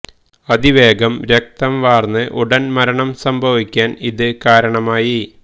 അതിവേഗം രക്തം വാർന്ന് ഉടൻ മരണം സംഭവിക്കാൻ ഇത് കാരണമായി